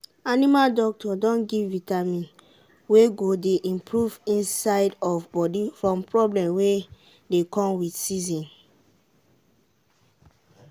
animal doctor don give vitamin wey go dey improve inside of body from problem wey dey come with season.